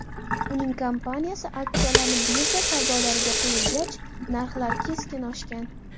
Uning kompaniyasi aksiyalari birja savdolariga qo‘yilgach, narxlar keskin oshgan.